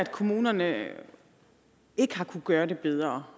kommunerne ikke har kunnet gøre det bedre